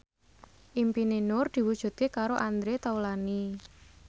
impine Nur diwujudke karo Andre Taulany